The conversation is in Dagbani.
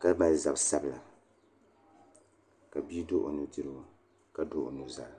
ka mali zabi sabila ka bia do o nudirigu ka do o nuzaa